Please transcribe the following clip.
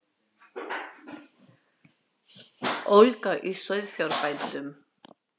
Ólga í sauðfjárbændum